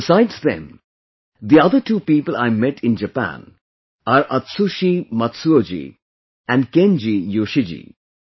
Besides them, the other two people I met in Japan are Atsushi Matsuoji and Kenji Yoshiji